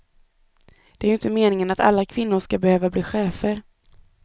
Det är ju inte meningen att alla kvinnor ska behöva bli chefer.